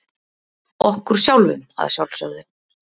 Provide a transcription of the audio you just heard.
Okkur sjálfum að sjálfsögðu.